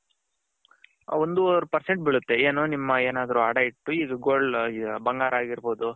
ಒಂದು ವರೆ percent ಬಿಳುತ್ತೆ ಏನು ನಿಮ್ಮ ಏನಾದ್ರು ಅಡ ಇಟ್ಟು ಇದು gold ಬಂಗಾರ ಆಗಿರ್ಬೌದು.